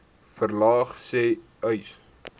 verlaag sê uys